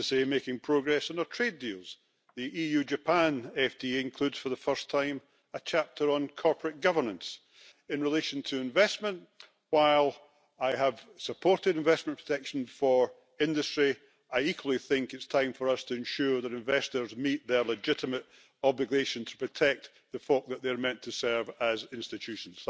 making progress on our trade deals. The-EU Japan FTA includes, for the first time, a chapter on corporate governance. In relation to investment, while I have supported investment protection for industry, I equally think it's time for us to ensure that investors meet their legitimate obligation to protect the folk that they meant to serve as institutions.